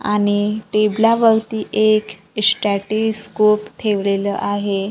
आणि टेबलावरती एक स्टॅटिस स्कोप ठेवलेलं आहे.